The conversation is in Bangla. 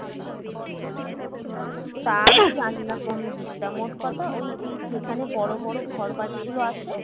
আহ তাই জানিনা কোন দিকটা মোট কথা ওই ওই যেখানে বড়ো বড়ো ঘর বাড়ি গুলো আছে